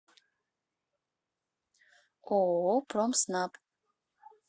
ооо промснаб